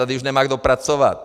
Tady nemá už kdo pracovat.